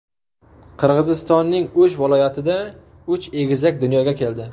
Qirg‘izistonning O‘sh viloyatida uch egizak dunyoga keldi.